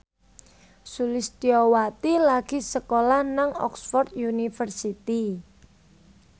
Sulistyowati lagi sekolah nang Oxford university